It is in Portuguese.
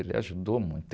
Ele ajudou muito.